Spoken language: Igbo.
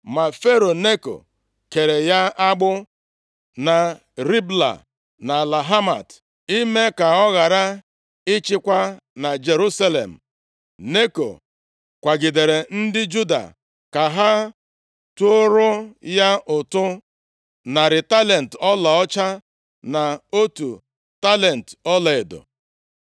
Ma Fero Neko keere ya agbụ na Ribla nʼala Hamat, ime ka ọ ghara ịchịkwa na Jerusalem. Neko kwagidere ndị Juda ka ha tụọrọ ya ụtụ narị talenti ọlaọcha, na otu talenti ọlaedo.